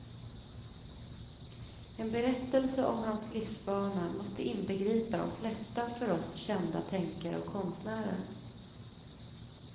En berättelse om hans livsbana måste inbegripa de flesta för oss kända tänkare och konstnärer.